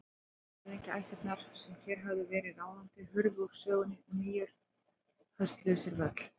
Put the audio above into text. Gömlu höfðingjaættirnar sem hér höfðu verið ráðandi hurfu úr sögunni og nýjar hösluðu sér völl.